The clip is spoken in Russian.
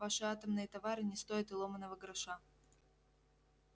ваши атомные товары не стоят и ломаного гроша